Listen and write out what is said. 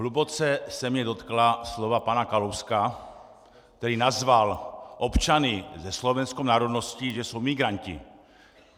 Hluboce se mě dotkla slova pana Kalouska, který nazval občany se slovenskou národností, že jsou migranti.